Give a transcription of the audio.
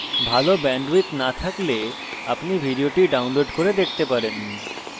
ভালো bandwidth না থাকলে আপনি ভিডিওটি download করে দেখতে পারেন